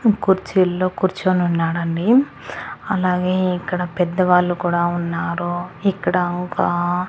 కుర్చీల్లో కూర్చొని ఉన్నాడండి అలాగే ఇక్కడ పెద్దవాళ్లు కూడా ఉన్నారు ఇక్కడ ఒక అ.